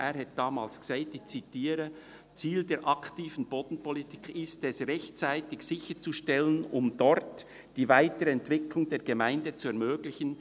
Er sagte damals, ich zitiere: «Ziel der aktiven Bodenpolitik ist es [...], rechtzeitig [...] sicherzustellen, um dort die weitere Entwicklung der Gemeinde zu ermöglichen.